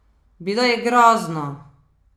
Bilo je grozno!